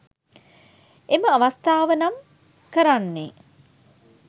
එම අවස්ථාව නම් කරන්නේ